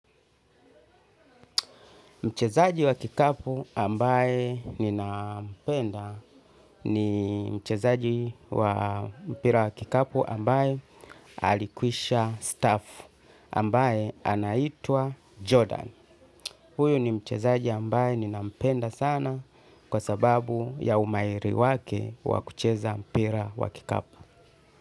Mchezaji wa kikapu ambaye ninampenda ni mchezaji wa mpira wa kikapu ambaye alikwishastaafu ambaye anaitwa Jordan. Huyo ni mchezaji ambaye ninampenda sana kwa sababu ya umahiri wake wa kucheza mpira wa kikapu.